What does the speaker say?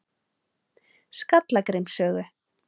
Skallagrímsgötu